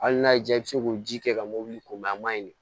Hali n'a y'i diya i bɛ se k'o ji kɛ ka mɔbili ko mɛ a ma ɲi